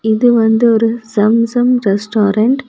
இது வந்து ஒரு சம் சம் ரெஸ்டாரன்ட் .